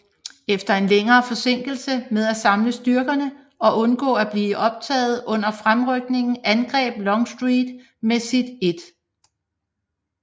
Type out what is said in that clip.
Efter en længere forsinkelse med at samle styrkerne og undgå at blive optaget under fremrykningen angreb Longstreet med sit 1